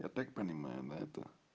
я так понимаю да это